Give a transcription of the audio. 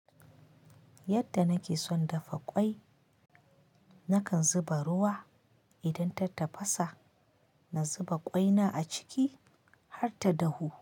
Yadda nake son dafa ƙwai, nakan zuba ruwa. Idan ta tafasa, na zuba ƙwaina a ciki har ta dahu.